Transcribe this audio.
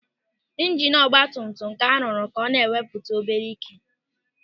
Ijinu ọgbatumtum ka a rụrụ ka ọ na-ewepụta obere ị́ké.